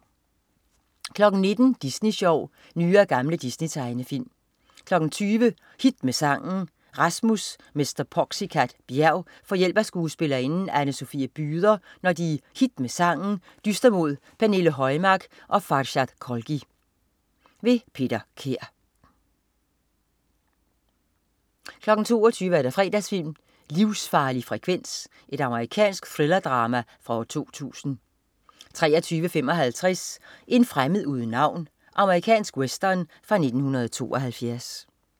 19.00 Disney Sjov. Nye og gamle Disney-tegnefilm 20.00 Hit med Sangen. Rasmus "Mr. Poxycat" Bjerg får hjælp af skuespillerinden Anne Sofie Byder, når de i Hit med Sangen dyster mod Pernille Højmark og Farshad Kholghi. Peter Kær 22.00 Fredagsfilm: Livsfarlig frekvens. Amerikansk thrillerdrama fra 2000 23.55 En fremmed uden navn. Amerikansk western fra 1972